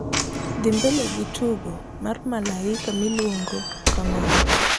dhi mbele gi tugo mar malaika miluongo kamano